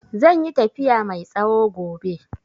Zai yi tafiya mai tsawo gobe.